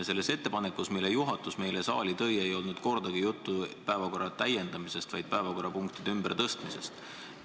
Selles ettepanekus, mille juhatus meile saali tõi, ei olnud kordagi juttu päevakorra täiendamisest, vaid päevakorrapunktide ümbertõstmisest.